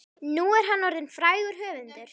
Nú er hann orðinn frægur höfundur.